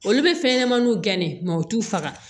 Olu bɛ fɛn ɲɛnɛmaniw gɛn ne ma u t'u faga